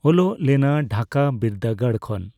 ᱚᱞᱚᱜ ᱞᱮᱱᱟ ᱰᱷᱟᱠᱟ ᱵᱤᱨᱫᱟᱹᱜᱟᱲ ᱠᱷᱚᱱ